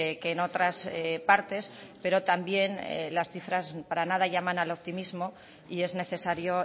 que en otras partes pero también las cifras para nada llaman al optimismo y es necesario